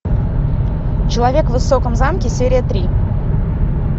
человек в высоком замке серия три